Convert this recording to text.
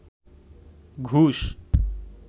ঘুষ